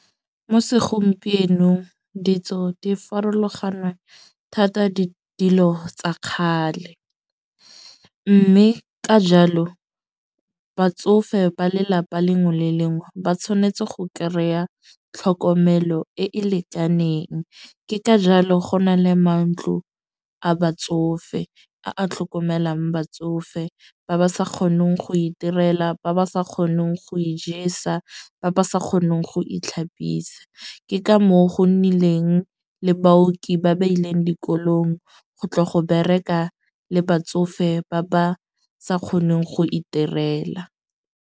Mo segompienong ditso di farologana thata dilo tsa kgale. Mme ka jalo batsofe ba lelapa lengwe le lengwe ba tshwanetse go kry-a tlhokomelo e e lekaneng. Ke ka jalo go na le mantlo a batsofe, a a tlhokomelang batsofe ba ba sa kgoneng go itirela, ba ba sa kgoneng go ijesa, ba ba sa kgoneng go itlhapisa. Ke ka moo go nnileng le baoki ba ba ileng dikolong, go tla go bereka le batsofe ba ba sa kgoneng go iterela.